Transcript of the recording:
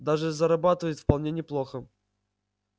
даже зарабатывают вполне неплохо